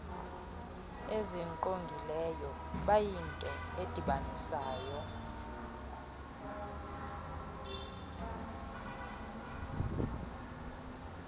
ezingqongileyo bayinto edibanisayo